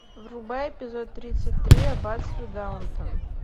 врубай эпизод тридцать три аббатство даунтон